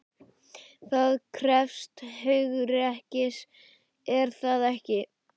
Það krefst hugrekkis, er það ekki?